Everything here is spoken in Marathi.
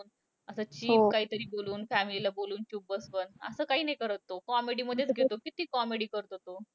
असं cheap काहीतरी बोलून, family ला बोलून चूप बसवलं. असं काही नाही करत तो. Comedy मधेच घेतो. किती comedy करतो तो.